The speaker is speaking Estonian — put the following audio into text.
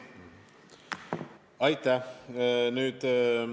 Aitäh!